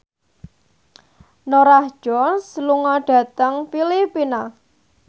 Norah Jones lunga dhateng Filipina